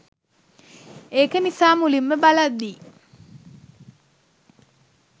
ඒක නිසා මුලින්ම බලද්දී